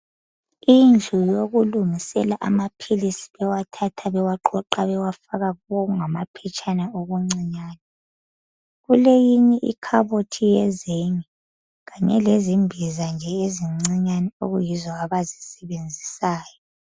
Indlu yokulungisela okungamaphilisi bewathatha bewagoqa bewafaka kokungamaphetshana okuncinyane. kuleyinye ikhabothi yezenge kanye lezimbiza nje ezincinyane okuyizo abazisebenzisayo.